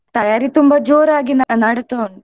ತಯಾರಿ ತುಂಬಾ ಜೋರಾಗಿ ನ~ ನಡೀತಾ ಉಂಟು.